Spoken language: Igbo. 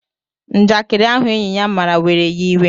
Njakiri ahụ enyị ya mara were ya iwe